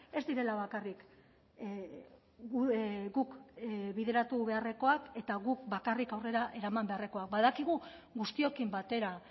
ez direla bakarrik guk bideratu beharrekoak eta guk bakarrik aurrera eraman beharrekoak badakigu guztiokin batera